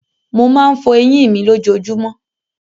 Mo máa ń fọ eyín mi lójojúmọ́.